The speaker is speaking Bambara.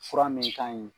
Fura min ka ɲi